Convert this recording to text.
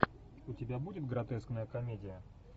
у тебя будет гротескная комедия